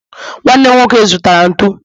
nwanne nwoke zụtara ntụ